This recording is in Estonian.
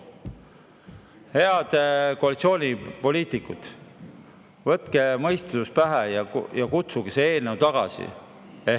Head koalitsioonipoliitikud, võtke mõistus pähe ja kutsuge see eelnõu tagasi!